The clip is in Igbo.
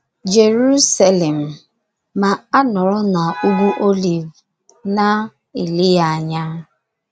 Jeruselem, ma a nọrọ n’Ugwu Oliv na -- ele ya anya